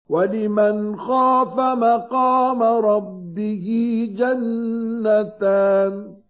وَلِمَنْ خَافَ مَقَامَ رَبِّهِ جَنَّتَانِ